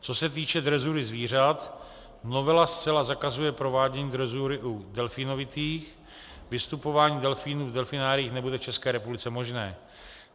Co se týče drezury zvířat, novela zcela zakazuje provádění drezury u delfínovitých, vystupování delfínů v delfináriích nebude v ČR možné.